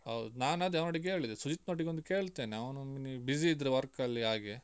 ಹೌದು ನಾನ್ ಅದೆ ಅವನೊಟ್ಟಿಗೆ ಕೇಳಿದೆ ಸುಜಿತ್ನೊಟ್ಟಿಗೆ ಒಂದು ಕೇಳ್ತೇನೆ ಅವನು ಮಿನಿ busy ಇದ್ರೆ work ಅಲ್ಲಿ ಹಾಗೆ.